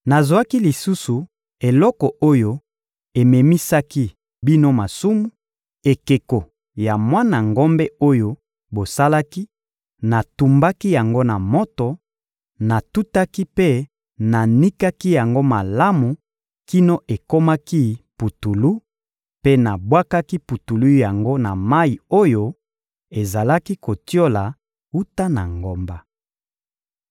Nazwaki lisusu eloko oyo ememisaki bino masumu, ekeko ya mwana ngombe oyo bosalaki, natumbaki yango na moto, natutaki mpe nanikaki yango malamu kino ekomaki putulu; mpe nabwakaki putulu yango na mayi oyo ezalaki kotiola wuta na ngomba.